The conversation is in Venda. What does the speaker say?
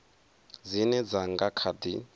dzine dza nga kha di